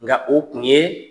Nka o tun yee